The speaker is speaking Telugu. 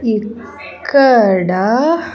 ఇక్కడ.